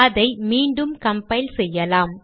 அதை மீண்டும் கம்பைல் செய்யலாம்